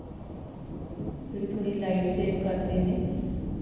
ਜਿਹੜੇ ਥੋੜੀ light save ਕਰਦੇ ਨੇ